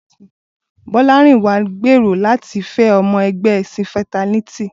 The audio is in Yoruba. Bolarinwa ń gbèrò láti fẹ́ ọmọ ẹgbẹ́ cinferternity.